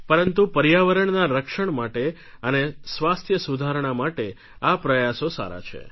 પરંતુ પર્યાવરણના રક્ષણ માટે અને સ્વાસ્થ્ય સુધારણા માટે આ પ્રયાસો સારા છે